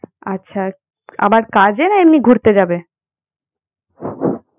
আচ্ছা আবার কাজে না এমনি ঘুরতে যাবে?